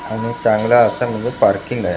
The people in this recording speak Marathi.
आणि चांगला असा मध्ये पार्किंग आहे.